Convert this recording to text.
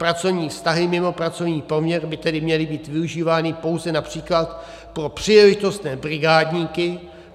Pracovní vztahy mimo pracovní poměr by tedy měly být využívány pouze například pro příležitostné brigádníky.